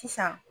Sisan